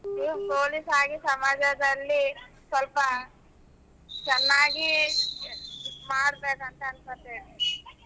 ನೀವ್ police ಆಗಿ ಸಮಾಜದಲ್ಲಿ ಸ್ವಲ್ಪ ಚೆನ್ನಾಗಿ ಮಾಡ್ಬೇಕು ಅಂತ ಅನಕೊಂತಿವಿ.